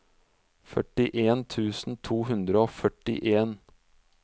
førtien tusen to hundre og førtien